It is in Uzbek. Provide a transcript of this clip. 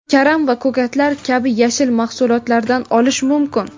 karam va ko‘katlar kabi yashil mahsulotlardan olish mumkin.